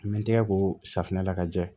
N bɛ n tigɛ ko safunɛ la ka jɛ